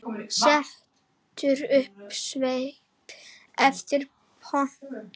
Setur upp svip eftir pöntun.